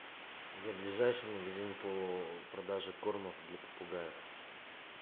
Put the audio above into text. где ближайший магазин по продаже кормов для попугаев